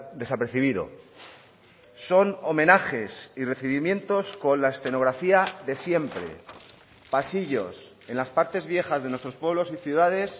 desapercibido son homenajes y recibimientos con la escenografía de siempre pasillos en las partes viejas de nuestros pueblos y ciudades